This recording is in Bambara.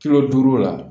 Kilo duuru la